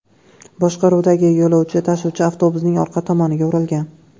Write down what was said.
boshqaruvidagi yo‘lovchi tashuvchi avtobusning orqa tomoniga urilgan.